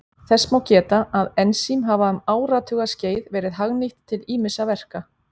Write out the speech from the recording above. Þess má geta að ensím hafa um áratugaskeið verið hagnýtt til ýmissa verka.